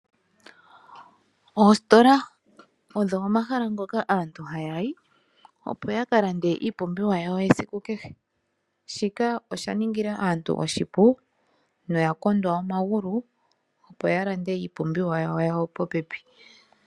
Oostola odho omahala ngoka aantu hayayi opo yakalande iipumbiwa yayo yesiku kehe. Shika osha ningila aantu oshipu noya kondwa omagulu opo yalande iipumbiwa yayo popepi.